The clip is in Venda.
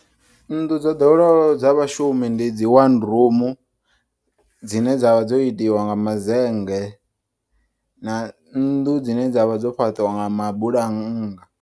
Nnḓu dzo ḓoweleaho dza vhashumi ndidzi one rumu dzine dzavha dzo itiwa ngama zennge na nnḓu dzine dzavha dzofhaṱiwa nga mabulannga.